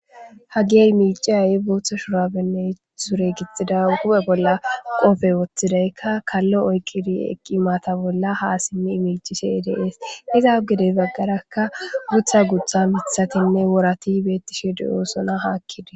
Hagi imiciyayi booththa shurabenne sure gixxida gupe bolla qofe woththidaykka kallo oyqidi eqqi mata bolla haa simmi imicise deees iza ugedey baggarakka gutha gutha mithatinne worati beettishidi oosona haakkide.